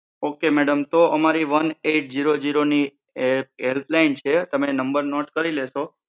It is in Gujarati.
ઓક મેડમ તો અમારી વન એટ ઝીરો ઝીરો ની હેલ્પ લાઈન છે તમે એ નંબર નોટ કરી લેશો